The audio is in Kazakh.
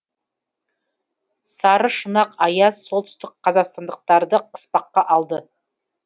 сарышұнақ аяз солтүстік қазақстандықтарды қыспаққа алды